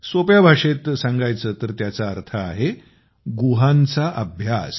सोप्या भाषेत सांगायचे तर त्याचा अर्थ आहे गुहांचा अभ्यास